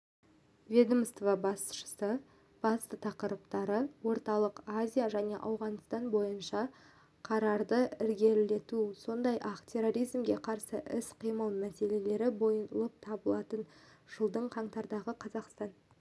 ведомство басшысы басты тақырыптары орталық азия және ауғанстан бойынша қарарды ілгерілету сондай-ақ терроризмге қарсы іс-қимыл мәселелері болып табылатын жылдың қаңтардағы қазақстан